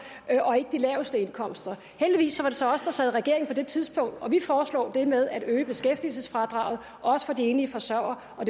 og ikke de laveste indkomster heldigvis var det så os der sad i regering på det tidspunkt og vi foreslog det med at øge beskæftigelsesfradraget også for de enlige forsørgere og